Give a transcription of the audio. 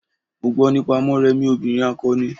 Mo gbo nípa Morèmi obìrin akọni.